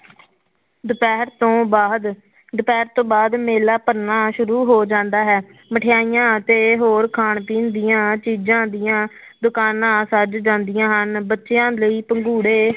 ਦੁਪਿਹਰ ਤੋਂ ਬਾਅਦ, ਦੁਪਿਹਰ ਤੋਂ ਬਾਅਦ ਮੇਲਾ ਭਰਨਾ ਸ਼ੁਰੂ ਹੋ ਜਾਂਦਾ ਹੈ, ਮਠਿਆਈਆਂ ਤੇ ਹੋਰ ਖਾਣ ਪੀਣ ਦੀਆਂ ਚੀਜ਼ਾਂ ਦੀਆਂ ਦੁਕਾਨਾਂ ਸੱਜ ਜਾਂਦੀਆਂ ਹਨ ਬੱਚਿਆਂ ਲਈ ਪੰਘੂੜੇ